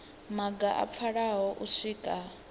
maga a pfalaho u swika